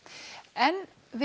en við